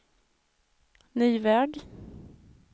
ny väg